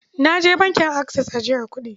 Na je bankin Access ajiyar kuɗi.